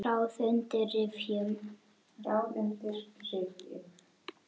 Ráð undir rifjum.